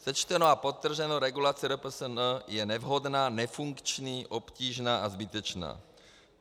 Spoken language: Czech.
Sečteno a podtrženo, regulace RPSN je nevhodná, nefunkční, obtížná a zbytečná.